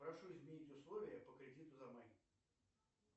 прошу изменить условия по кредиту за май